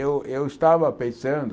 Eu eu estava pensando...